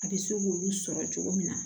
A bɛ se k'olu sɔrɔ cogo min na